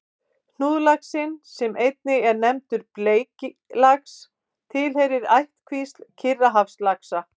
Hnúðlaxinn, sem einnig er nefndur bleiklax, tilheyrir ættkvísl Kyrrahafslaxa.